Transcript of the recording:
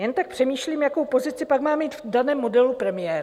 Jen tak přemýšlím, jakou pozici pak má mít v daném modelu premiér.